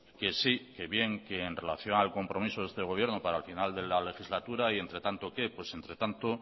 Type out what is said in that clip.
que sí que bien que en relación al compromiso de este gobierno para el final de la legislatura y entre tanto qué entre tanto